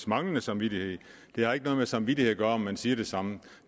manglende samvittighed det har ikke noget med samvittighed at gøre at man siger det samme